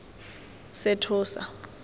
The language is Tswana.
sethosa